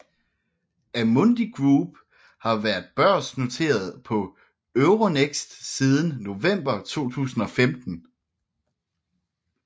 Amundi Group har været børsnoteret på Euronext siden november 2015